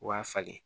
U b'a falen